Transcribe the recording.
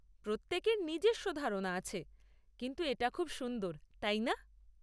প্রত্যেকের নিজস্ব ধারনা আছে, কিন্তু এটা খুব সুন্দর, তাই না?